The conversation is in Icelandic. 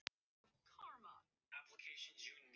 Það var ömurlegt að þurfa að standa í þessu ein.